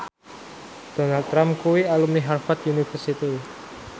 Donald Trump kuwi alumni Harvard university